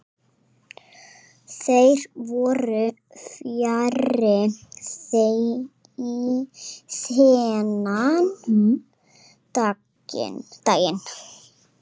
Þeir voru fjarri þennan daginn.